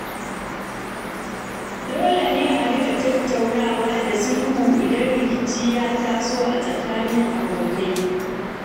Dole ne a riƙa tattaunawa da sulhu idan rikici ya taso tsakanin abokai.